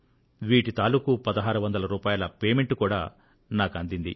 వీటి తాలుకు 1600 రూపాయల పేమెంట్ కూడా నాకు అందింది